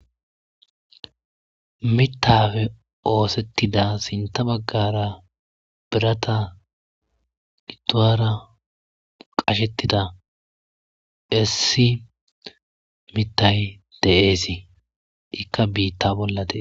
Miththappe osetidasintta bagara birati giduwara qashshetida issi miththayi de'ees ikk biitta bolla dees.